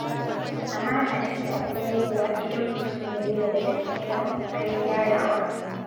Amana tana komowa idan mutum ya nuna da gaske yana ƙoƙarin gyarawa.